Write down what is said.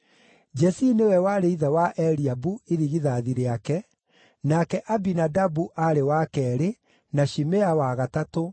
Jesii nĩwe warĩ ithe wa Eliabu, irigithathi rĩake; nake Abinadabu aarĩ wa keerĩ, na Shimea wa gatatũ,